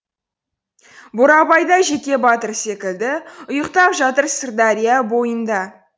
бурабайда жекебатыр секілді ұйықтап жатыр сырдария бойында